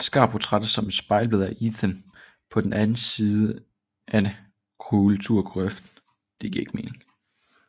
Scar portrætteres som et spejlbillede af Ethan på den anden side at kulturkløften